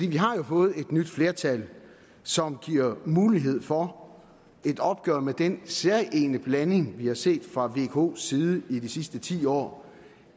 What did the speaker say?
vi har jo fået et nyt flertal som giver mulighed for et opgør med den særegne blanding vi har set fra vkos side i de sidste ti år